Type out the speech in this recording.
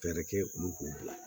Fɛɛrɛ kɛ olu k'u bila